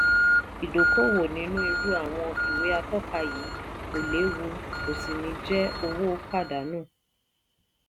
ìdókòwò nínú irú àwọn ìwé atọ́ka yìí kò léwu kò sì ní jẹ́ owó pàdánù.